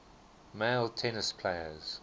male tennis players